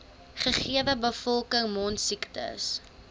gegewe bevolking mondsiektes